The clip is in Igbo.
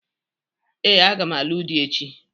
Ee, aga m alụ di echi.